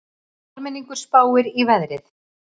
Almenningur spáir í veðrið